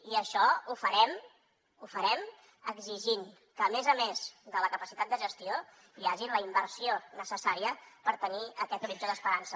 i això ho farem ho farem exigint que a més a més de la capacitat de gestió hi hagi la inversió necessària per tenir aquest horitzó d’esperança